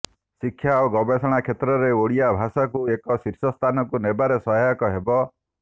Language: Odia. ଶିକ୍ଷା ଓ ଗବେଷଣା କ୍ଷେତ୍ରରେ ଓଡ଼ିଆ ଭାଷାକୁ ଏକ ଶୀର୍ଷସ୍ଥାନକୁ ନେବାରେ ସହାୟକ ହେବ